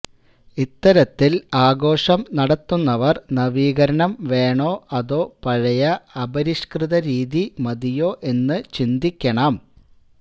ഇത്തരത്തില് ആഘോഷം നടത്തുന്നവര് നവീകരണം വേണോ അതോ പഴയ അപരിഷ്കൃത രീതി മതിയോ എന്നു ചിന്തിക്കണം